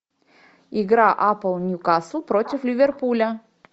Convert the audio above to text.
игра апл ньюкасл против ливерпуля